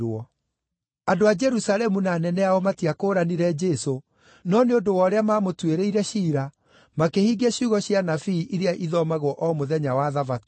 Andũ a Jerusalemu na anene ao matiakũũranire Jesũ, no nĩ ũndũ wa ũrĩa maamũtuĩrĩire ciira, makĩhingia ciugo cia anabii iria ithomagwo o mũthenya wa Thabatũ.